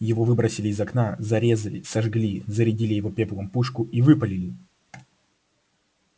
его выбросили из окна зарезали сожгли зарядили его пеплом пушку и выпалили